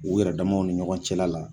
U yɛrɛ damaw ni ɲɔgɔn cɛla la.